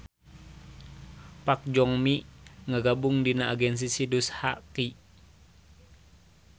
Park Joo-mi ngagabung dina agensi Sidus HQ